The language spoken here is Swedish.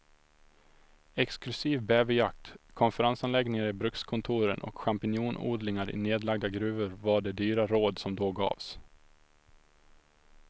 Exklusiv bäverjakt, konferensanläggningar i brukskontoren och champinjonodlingar i nedlagda gruvor var de dyra råd som då gavs.